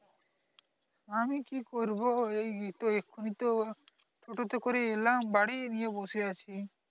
আমি কি করব এই তো এক্ষুনি তো টোটো তে করে এলাম বাড়ি নিয়ে বসে আছি